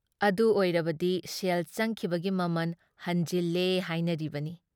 ꯑꯗꯨ ꯑꯣꯏꯔꯕꯗꯤ ꯁꯦꯜ ꯆꯪꯈꯤꯕꯒꯤ ꯃꯃꯜ ꯍꯟꯖꯤꯜꯂꯦ ꯍꯥꯏꯅꯔꯤꯕꯅꯤ ꯫